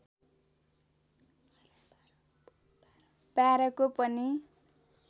१२ को पनि